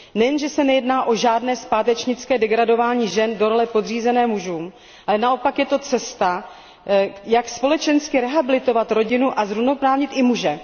Nejen že se nejedná o žádné zpátečnické degradování žen do role podřízené mužům, ale naopak je to cesta, jak společensky rehabilitovat rodinu a zrovnoprávnit i muže.